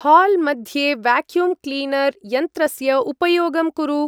हाल्-मध्ये vacuum cleaner यन्त्रस्य उपयोगं कुरु।